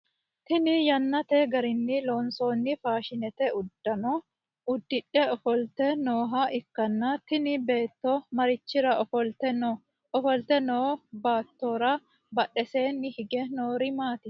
Tinni yannate garinni loonsoonni faashinete udano udidhe ofolte nooha ikanna tinni beetto marichira ofolte no? Ofolte noo beettora badheseenni hige noori maati?